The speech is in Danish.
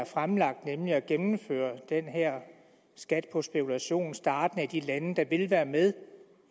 fremlagt nemlig at gennemføre den her skat på spekulation startende i de lande der vil være med